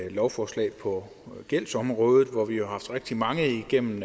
et lovforslag på gældsområdet og vi har jo haft rigtig mange igennem